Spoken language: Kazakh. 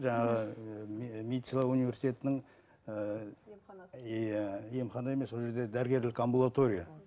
жаңағы ыыы медициналық университетінің ыыы иә емхана емес ол жерде дәрігерлік амбулатория